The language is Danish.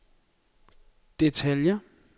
detaljer